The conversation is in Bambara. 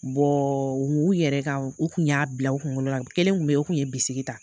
u yɛrɛ ka, u kun y'a bila u kunkolo la kelen kun be yen o kun ye bisiki ta.